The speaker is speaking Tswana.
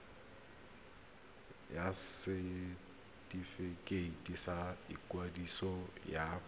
ya setefikeiti sa ikwadiso ya